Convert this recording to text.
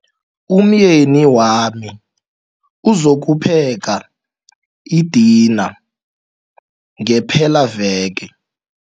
Umyeni wami uzokupheka idina ngepelaveke.